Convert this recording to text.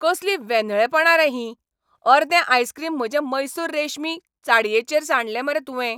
कसलीं वेंधळेपणां रे हीं. अर्दें आयसक्रीम म्हजे म्हैसूर रेशमी साडयेचेर सांडलें मरे तुवें.